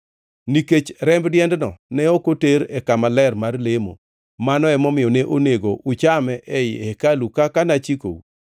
Nikech remb diendno ne ok oter e Kama Ler mar lemo, mano emomiyo ne onego uchame ei hekalu kaka nachikou.”